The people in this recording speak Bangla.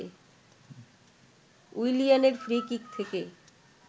উইলিয়ানের ফ্রি-কিক থেকে